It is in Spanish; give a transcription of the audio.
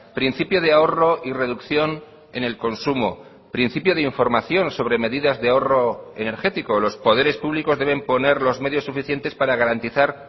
principio de ahorro y reducción en el consumo principio de información sobre medidas de ahorro energético los poderes públicos deben poner los medios suficientes para garantizar